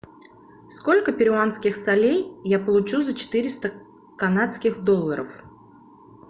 сколько перуанских солей я получу за четыреста канадских долларов